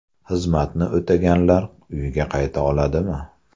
Xizmatni o‘taganlar uyga qayta oladimi?